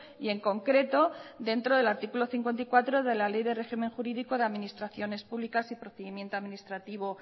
y en concreto dentro del artículo cincuenta y cuatro de la ley de régimen jurídico de administraciones públicas y procedimiento administrativo